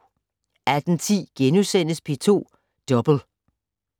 18:10: P2 Double *